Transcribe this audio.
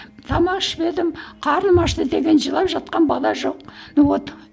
тамақ ішпедім қарным ашты деген жылап жатқан бала жоқ вот